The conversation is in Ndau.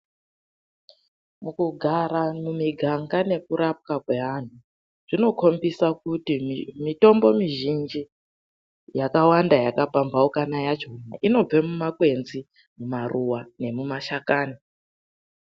Mukugara mumiganga nekurapwa kwevanhu, zvinokombisa kuti mitombo mizhinji yakawanda yakapamhaukana yacho, inobva mumakwenzi, mumaruwa nemumashakani.